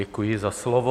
Děkuji za slovo.